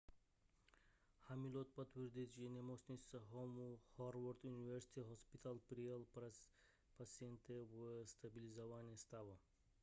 hamilton potvrdil že nemocnice howard university hospital přijala pacienta ve stabilizovaném stavu